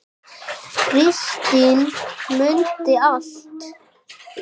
Kristín mundi allt.